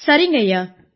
சரிங்கய்யா